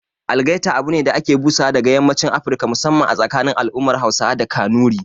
Algaita abune da ake busawa daga yammacin Afirka, musamman a tsakanin al'ummar Hausawa da Kanuri